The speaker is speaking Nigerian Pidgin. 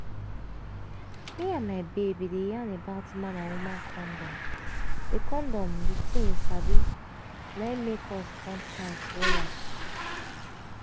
me and my babe bin dey yarn about man and woman condom di condom di tin you sabi na make us come tight wella